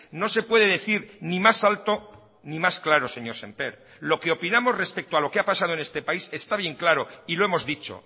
no se puede decir ni más alto ni más claro señor semper lo que opinamos respecto a lo que ha pasado en este país está bien claro y lo hemos dicho